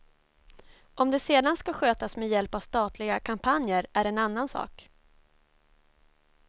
Om det sedan ska skötas med hjälp av statliga kampanjer är en annan sak.